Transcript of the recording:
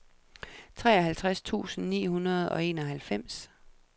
treoghalvtreds tusind ni hundrede og enoghalvfems